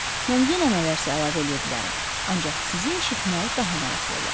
Mən yenə nələrsə əlavə eləyə bilərəm, ancaq sizi eşitmək daha maraqlı olar.